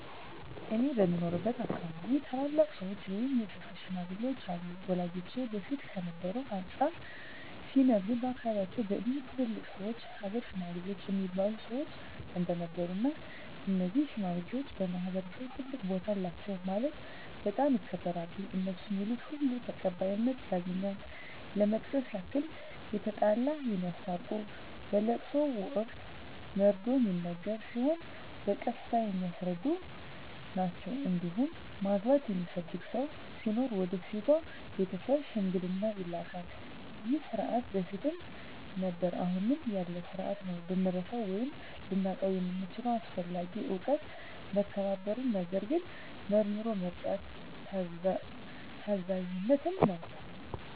እኔ በምኖርበት አካባቢ ታላላቅ ሰዎች ወይም የሰፈር ሽማግሌዎች አሉ ወላጆቼ በፊት ከነበረው አንፃር ሲነግሩኝ በአካባቢያቸው በእድሜ ትላልቅ ሰዎች የሀገር ሽማግሌ እሚባሉ ሰዎች እንደነበሩ እና እነዚህ ሽማግሌዎች በማህበረሰቡ ትልቅ ቦታ አላቸው ማለትም በጣም ይከበራሉ እነሡ ሚሉት ሁሉ ተቀባይነት ያገኛል ለመጥቀስ ያክል የተጣላ የሚያስታርቁ በለቅሶ ወቅት መርዶ ሚነገር ሲሆን በቀስታ የሚያስረዱ ናቸዉ እንዲሁም ማግባት የሚፈልግ ሰው ሲኖር ወደ ሴቷ ቤተሰብ ሽምግልና ይላካሉ ይህ ስርዓት በፊትም ነበረ አሁንም ያለ ስርአት ነው። ልንረሳው ወይም ልናጣው የምንችለው አስፈላጊ እውቀት መከባበርን፣ ነገርን መርምሮ መረዳትን፣ ታዛዝነትን ነው።